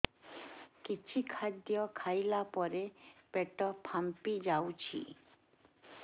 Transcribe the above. କିଛି ଖାଦ୍ୟ ଖାଇଲା ପରେ ପେଟ ଫାମ୍ପି ଯାଉଛି